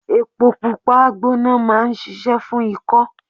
Epo Pupa gbona máa ń ṣíṣe fún ikọ.